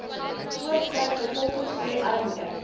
voortspruit bevolkingsgroei armoede